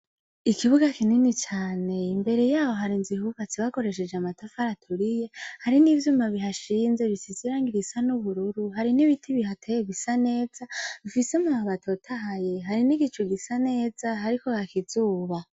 Ikibuga kinini cane, imbere yaho har inzu yubatse bakoreshej' amatafari aturiye. Hari nivyuma bihashinze bisize irangi risa ubururu, hari n ibiti bihateye bisa neza bifise amababi atotahaye, hari n igicu gisa neza hariko haka izuba.